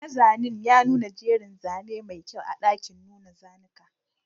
Mazanin ya nuna jerin zane mai kyau a ɗakin nuna zanuka